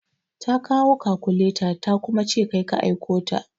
Ta kawo kakuleta ta kuma ce kai ka aiko ta.